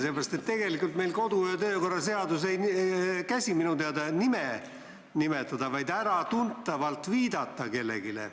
Minu teada ei näe meie kodu- ja töökorra seadus ette nime nimetamist, vaid piisab sellest, kui kellelegi äratuntavalt viidatakse.